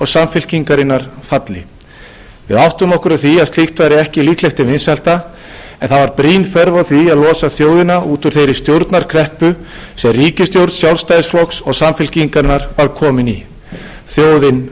samfylkingarinnar falli við áttum okkur á því að slíkt væri ekki líklegt til vinsælda en það væri brýn þörf á því að losa þjóðina út úr þeirri stjórnarkreppu sem ríkisstjórn sjálfstæðisflokks og samfylkingarinnar var komin í þjóðin